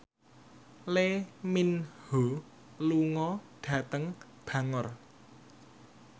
Lee Min Ho lunga dhateng Bangor